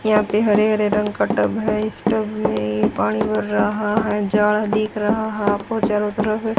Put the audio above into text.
यहां पे हरे-हरे रंग का टब है इस टब में ये पानी भर रहा है जाल दिख रहा है आपको चारों तरफ --